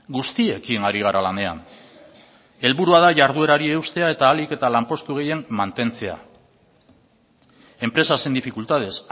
guztiekin ari gara lanean helburua da jarduerari eustea eta ahalik eta lanpostu gehien mantentzea empresas en dificultades